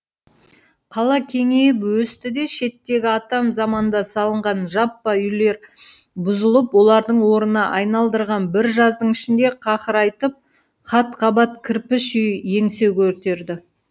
қала кеңейіп өсті де шеттегі атам заманда салынған жаппа үйлер бұзылып олардың орнына айналдырған бір жаздың ішінде қақырайтып қат қабат кірпіш үй еңсе көтерді